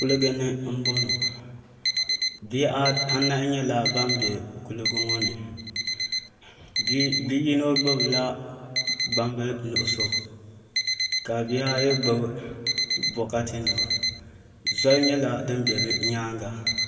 Kuligi ni n boŋo bihi anahi nyɛla ban bɛ kuligi ŋo ni bi yino gbubila gbambili nuɣso ka bihi ayi gbubi bokati nima zoli nyɛla din bɛ bi nyaanga